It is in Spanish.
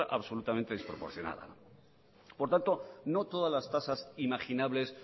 otra absolutamente desproporcionada por lo tanto no todas las tasas imaginables